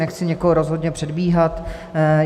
Nechci nikoho rozhodně předbíhat.